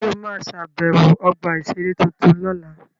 Ṣé o ma ṣàbẹ̀wọ̀ ọgbà-ìṣeré tuntun lọ́la?